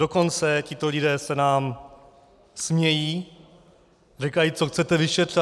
Dokonce tito lidé se nám smějí, říkají: Co chcete vyšetřovat?